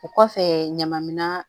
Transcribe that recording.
O kɔfɛ ɲamaminɛnna